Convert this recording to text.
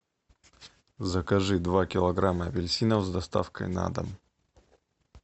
закажи два килограмма апельсинов с доставкой на дом